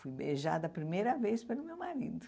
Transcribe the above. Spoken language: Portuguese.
Fui beijada a primeira vez pelo meu marido.